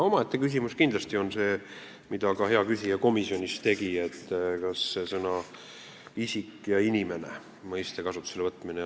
Omaette küsimus on, mida ka hea küsija komisjonis mainis, mõistete "isik" ja "inimene" kasutusele võtmine.